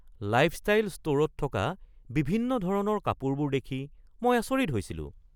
Lifestyle ষ্ট’ৰত থকা বিভিন্ন ধৰণৰ কাপোৰবোৰ দেখি মই আচৰিত হৈছিলোঁ!